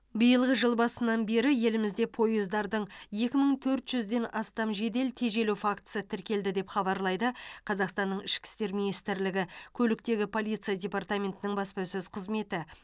биылғы жыл басынан бері елімізде пойыздардың екі мың төрт жүзден астам жедел тежелу фактісі тіркелді деп хабарлайды қазақстанның ішкі істер министрлігі көліктегі полиция департаментінің баспасөз қызметі